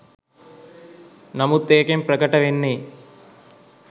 නමුත් ඒකෙන් ප්‍රකට වෙන්නෙ